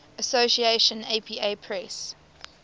association apa press